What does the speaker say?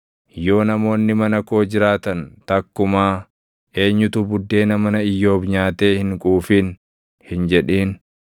Yoo namoonni mana koo jiraatan, takkumaa, ‘Eenyutu buddeena mana Iyyoob nyaatee hin quufin?’ hin jedhin,